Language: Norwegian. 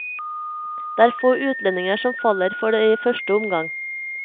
Det er få utlendinger som faller for det i første omgang.